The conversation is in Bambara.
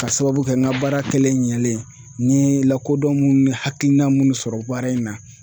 K'a sababu kɛ n ka baara kɛlen ɲalen n ye lakodɔn minnu ni hakilina munnu sɔrɔ baara in na.